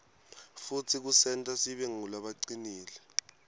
futsi kusenta sibe ngulabacinile